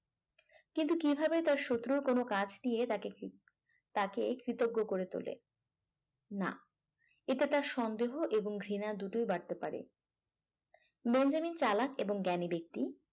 কিন্তু কিভাবে তার শত্রু কোন কাজ দিয়ে তাকে কি তাকে কৃতজ্ঞ করে তোলে না এটা তার সন্দেহ এবং ঘৃণা দুটোয় বাড়তে পারে বেঞ্জামিন চালাক এবং জ্ঞানী ব্যক্তি